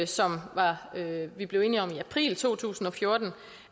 som vi blev enige om i april to tusind og fjorten